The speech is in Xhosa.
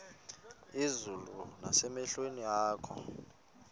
izulu nasemehlweni akho